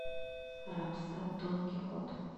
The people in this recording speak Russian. рапсат дон кихот